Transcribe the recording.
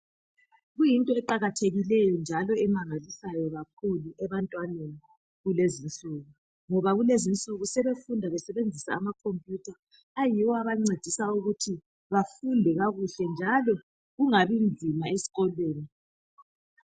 Kuyinto eqakathekileyo njalo emangalisayo kakhulu ebantwaneni kulezinsuku. Ngoba kulezinsuku sebefunda besebenzisa ama computer, ayiwo abancedisa ukuthi bafunde kakuhle njalo kungabi nzima eskolweni.